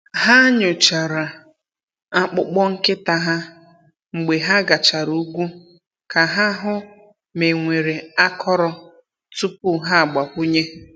Ha nyochara akpụkpọ nkịta ha mgbe ha gachara ugwu ka ha hụ ma e nwere akọrọ tupu ha agbakwunye.